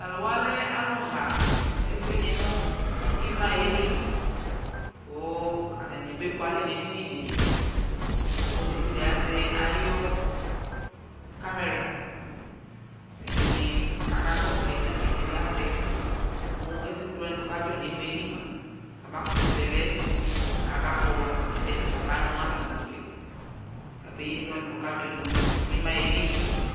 Tʋ alʋ wa lɛ alʋɣa ɛsɛnɩ nʋ ɩma yɛ li kʋ atanɩ abekualɛ nʋ edini dɩ Ɔlʋ desɩade azɛ ayʋ kamera Ɛdɩnɩ akakɔsʋ ayili la kʋ ɛdɩnɩ azɛ Mʋ ɛsɛ setu wanɩ kʋ akadzɔ nʋ ɩma yɛ li mʋa, kabakʋtʋ zɛ lɛ kabakpɔ wa alʋ desɩade kabanʋ nʋ atamɩ ʋtʋ yɛ kabeyi ɛsɛ wanɩ kʋ ɔkadzɔ nʋ ɩma yɛ li